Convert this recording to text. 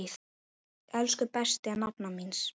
Elsku besta nafna mín.